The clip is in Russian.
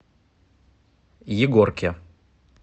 егорке